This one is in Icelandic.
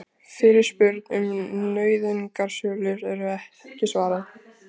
Fyrirspurn um nauðungarsölur ekki svarað